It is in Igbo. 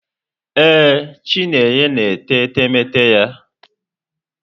Ee, Chinenye na-ete etemeete ya.